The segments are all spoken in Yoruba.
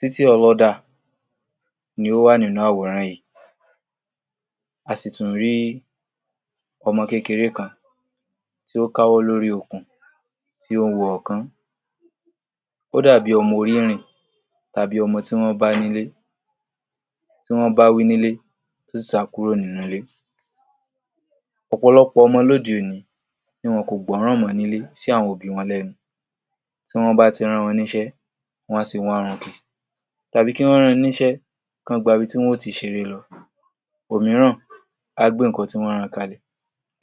Títì ọlọ́dà ni ó wà nínú àwòrán yìí, a sì ttún rí ọmọ kékeré kan tí ó káwọ́ lórí okùn tí ó ń wo ọ̀ọ́kán, ó dàbí ọmọ orí ìrìn tàbí ọmọ tí wọ́n bá nílé tí wọ́n bá wí nílé tó sì sá kúrò ní ilé. ọ̀pọ̀lọpọ̀ ọmọ l’óde òní ni wọn kò gbọ́ràn mọ́ nílé sí àwọn òbí wọn lẹ́nu, tí wọ́n bá ti rán wọn níṣẹ́, wọn a sì warùnkì tàbí kí wọ́n rán wọn níṣẹ́ kí wọ́n gba ibi tí wọ́n ó tti ṣeré lọ, òmíràn á gbé nǹkan tí wọ́n ran kalẹ̀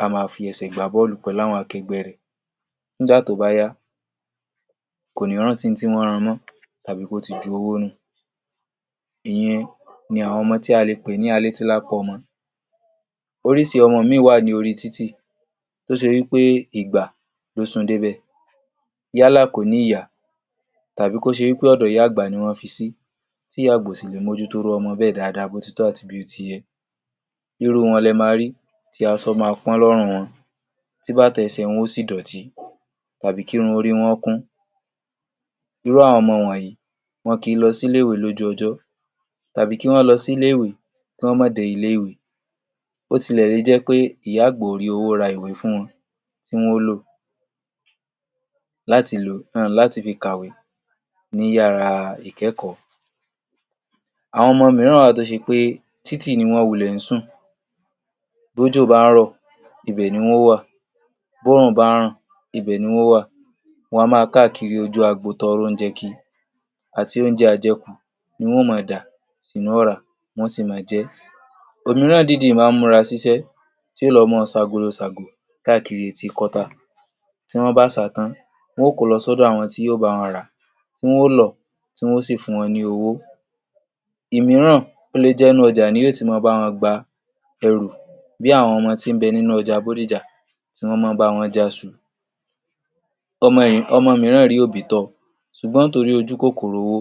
á máa fi ẹsẹ̀ gbá bọ́ọ̀lù pẹ̀lú àwọn akẹgbẹ́ rẹ̀ nígbà tó bá yá kò ní rántí ohun tí wọ́n ran mọ́ tàbí kí ó ti ju owó nù ìy’un ni àwọn ọmọ tí a lè pè ní alétílápá ọmọ. Oríṣi ọmọ míì wà lórí títì tó ṣe wí pé ìgbà ló sun dé’bẹ̀ yálà kò ní’yà tàbí kó ṣe wí pé ọ̀dọ̀ ìyá àgbà ni wọ́n fi sí tí ìyá àgbà ò sì lè mójútó irú ọmọ bẹ́ẹ̀ bó ti tọ́ àti bó ti yẹ. Irú wọn lẹ máa rí tí aṣọ máa pọ́n lọ́rùn wọn, tí bàtà ẹsẹ̀ wọn ó sì dọ̀tí tàbí kí irun orí wọn ó kún. Irú àwọn ọmọ wọ̀nyí, wọn kì í lọ sí ilé-ìwé lójú ọjọ́ tàbí kí wọ́n lọ sí ilé-ìwé, kí wọ́n má dé ilé ìwé bó tilẹ̀ ṣe jẹ́ pé ìyá àgbà ó rí owó ra ìwé fún wọn tí wọn ó lò láti lò um láti fi kàwé ní yàrá ìkẹ́kọ̀ọ́. Àwọn ọmọ mìíràn wà tó ṣe pé títì ni wọ́n wulẹ̀ ń sùn, b’ójò bá ń rọ̀ ibẹ̀ ni wọ́n ó wà, b’órùn bá ń ràn ibẹ̀ ni wọ́n ó wà, wọn a máa káàkiri ojú agbo tọrọ oúnjẹ kiri àti oúnjẹ ajẹkù ni wọn ó ma dà sínú ọ̀rá wọ́n ó sì máa jẹ́. Òmíràn dìídì máa ń múra síṣẹ́, tí yó lọ máa ṣagolo ṣàgò káàkiri etí kọ́tà. Tí wọ́n bá ṣà á tán wọn ó ko lọ sọ́dọ̀ àwọn tí yó bá wọn rà á tí wọn ó lọ̀ tí wọ́n ó sì fún wọn ní owó. Òmíràn, ó lè jẹ́ inú ọjà ni yó ti máa bá wọn gba ẹrù bí àwọn ọmọ tí ń bẹ nínú ọjà bódìjà tí wọ́n máa ń bá wọn já’ṣu um ọmọ mìíràn rí òbí tọ́ọ, ṣùgbọ́n nítorí ojú kòkòrò owó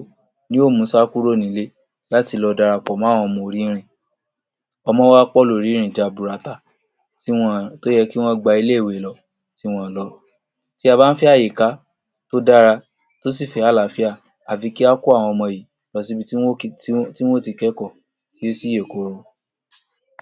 ni yó mu sá kúrò ní ilé láti lọ darapọ̀ mọ́ àwọn ọmọ orí ìrìn. ọmọ wá pọ̀ lórí ìrìn jaburata ti wọn tó yẹ kí wọ́n gba ilé ìwé lọ tí wọn ò lọ. Tí a bá ń fẹ́ àyíká tó dára tó sì fẹ́ àláfíà, àfi ká kó àwọn ọmọ yìí lọ síbi tí wọ́n ó um tí wọ́n ó ti kẹ́kọ̀ọ́ tó sì yè koro.